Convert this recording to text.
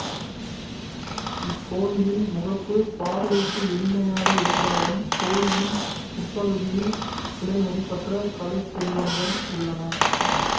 இக்கோவிலின் முகப்பு பார்வைக்கு எளிமையாக இருந்தாலும் கோவிலின் உட்பகுதியில் விலைமதிப்பற்ற கலைச் செல்வங்கள் உள்ளன